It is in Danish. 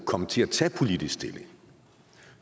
kom til at tage politisk stilling